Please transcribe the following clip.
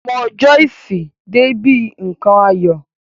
Ọmọ Joyce dé bi nkan ayọ̀.